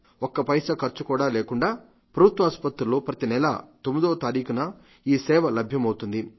ఒక్క పైసా ఖర్చు కూడా లేకుండా ప్రభుత్వాసుపత్రుల్లో ప్రతినెలా 9వ తారీఖున ఈ సేవ లభ్యమవుతుంది